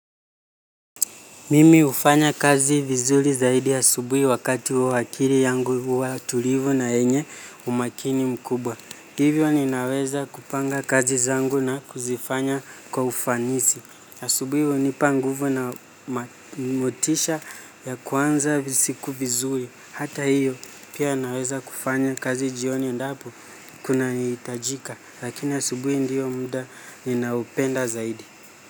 Mimi hufanya kazi vizuri zaidi asubuhi wakati huo akili yangu huwa tulivu na yenye umakini mkubwa. Hivyo ninaweza kupanga kazi zangu na kuzifanya kwa ufanisi. Asubuhi hunipa nguvu na motisha ya kuanza siku vizuri. Hata hiyo pia naweza kufanya kazi jioni endapo kunahitajika. Lakini asubuhi ndio mda ninaopenda zaidi.